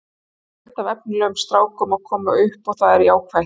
Það er fullt af efnilegum strákum að koma upp og það er jákvætt.